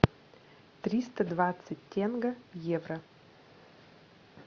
триста двадцать тенге в евро